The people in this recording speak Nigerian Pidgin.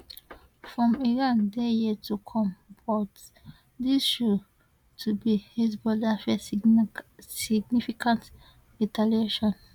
from iran dey yet to come but dis show to be hezbollah first significant retaliation